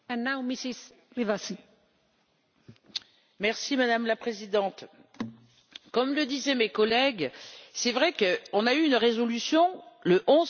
Madame la Présidente, comme le disaient mes collègues, c'est vrai que nous avons eu une résolution le 11 février 2015 sur la viande dans les aliments transformés.